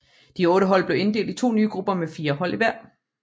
De otte hold blev inddelt i to nye grupper med fire hold i hver